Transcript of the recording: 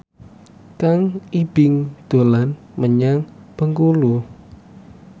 Kang Ibing dolan menyang Bengkulu